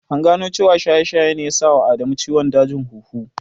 An gano cewa shaye-shaye ne ya sa wa Adamu ciwon dajin huhu.